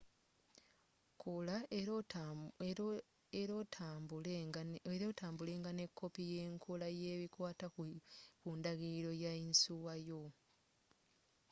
kola era otambulenga ne koppi yenkola nebikwata ku ndagiliro ya yinsuwa yo